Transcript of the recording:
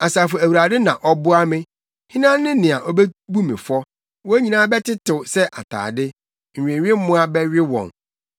Asafo Awurade na ɔboa me. Hena ne nea obebu me fɔ? Wɔn nyinaa bɛtetew sɛ atade; nnwewemmoa bɛwe wɔn.